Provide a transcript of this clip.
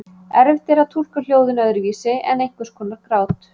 Erfitt er að túlka hljóðin öðruvísi en einhvers konar grát.